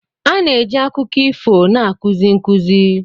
A na-eji akụkọ ifo na-akụzi nkuzi.